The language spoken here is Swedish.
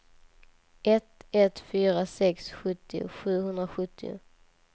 ett ett fyra sex sjuttio sjuhundrasjuttio